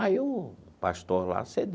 Aí o pastor lá cedeu.